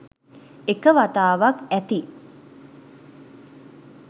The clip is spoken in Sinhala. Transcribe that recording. එක වතාවක් ඇති